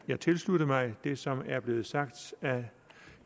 jeg tilslutte mig det som er blevet sagt af